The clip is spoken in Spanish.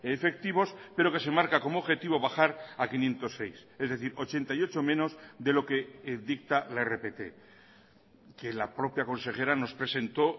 efectivos pero que se marca como objetivo bajar a quinientos seis es decir ochenta y ocho menos de lo que dicta la rpt que la propia consejera nos presentó